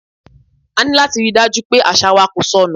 A ní láti ríi dájú pé àṣà wa kò sọ nù.